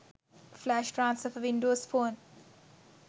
flash transfer for windows phone